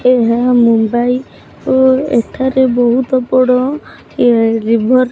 ଏହା ମୁମ୍ବାଇ ଓ ଏଠାରେ ବୋହୁତ ବଡ଼ ଏ ରିଭର୍ --